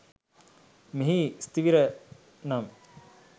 මෙහි ස්ථවිර නම්